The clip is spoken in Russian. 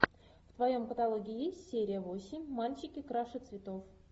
в твоем каталоге есть серия восемь мальчики краше цветов